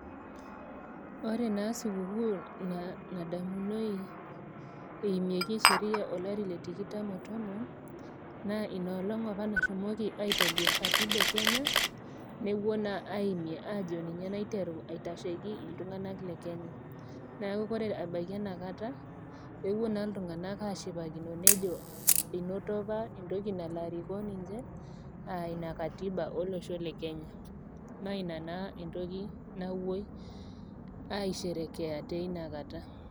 Ore naa sikukuu nadamunoi eimieki Sheria olari le tikitam o tomon, inaalong opa nashomoki aitobir Katiba e Kenya mepuoi naa aimie ajo ninye naa naiteru aitasheiki iltung'ana le Kenya, neaku ore abaiki enkata, ewpuo naa iltung'ana ashipakino nejo, einoto opa entoki nalo arikoo ninche, aa Ina Katiba olosho le Kenya. Naa Ina naa entoki napuoi aisherekea teina kata.